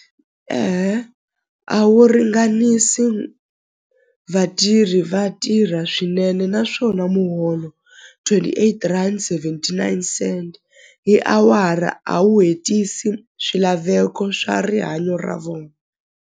a wu ringanisi vatirhi vatirha swinene naswona muholo twenty eight rand seventy nine cent hi awara a wu hetisi swilaveko swa rihanyo ra vona.